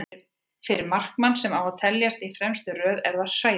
Fyrir markmann sem á að teljast í fremstu röð er það hræðilegt.